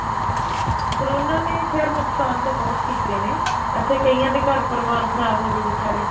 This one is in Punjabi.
ਕਰੋਨਾ ਨੇ ਖੈਰ ਨੁਕਸਾਨ ਤਾਂ ਬਹੁਤ ਕੀਤੇ ਨੇ ਅੱਛਾ ਕਈਆਂ ਦੇ ਘਰ ਪਰਿਵਾਰ ਖਰਾਬ ਹੋ ਗਏ ਵੀਚਾਰੇ